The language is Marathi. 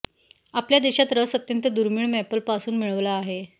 आपल्या देशात रस अत्यंत दुर्मिळ मॅपल पासून मिळवला आहे